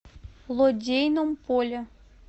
лодейном поле